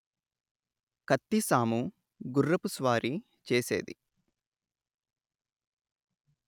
కత్తిసాము గుర్రపు స్వారీ చేసేది